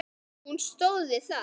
Og hún stóð við það.